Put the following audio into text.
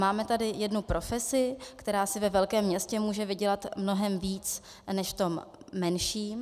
Máme tady jednu profesi, která si ve velkém městě může vydělat mnohem víc než v tom menším.